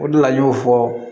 O de la n y'o fɔ